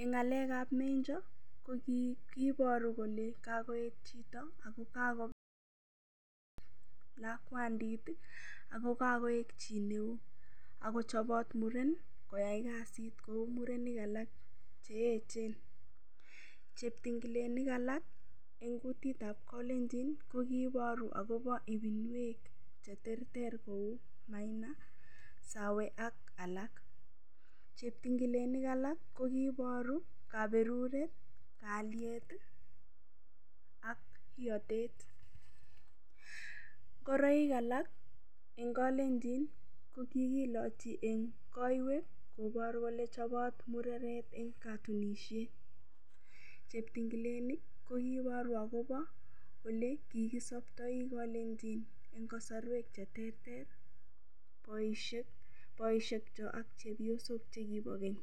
eng ng'alek ab menjo kokiiboru kole kakoet chito ako kakoek chi neo akochobot muren koyai kasit kou murenik alak cheechen cheptingilenik alak eng kutitab kalenjin ko kiiboru akobo ibinwek cheterter kou maina sawe ak alak cheptingilenik alak kokiiboru kaberuret kalyet ak iyotet ngoroik alak eng kolenjon ko kikilochi eng koiwek koboru kole chobot mureret eng katunishet cheptingilenik kokiiboru akobo ole kikisopptoi kalenjin eng kasarwek cheterter boishekcho ak chepyosok chekibo keny.